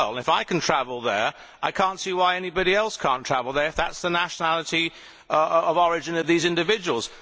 If I can travel there, I cannot see why anybody cannot travel there if that is the nationality of origin of these individuals.